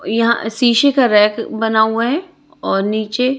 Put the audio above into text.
यहां शीशे का रैक बना हुआ है और नीचे--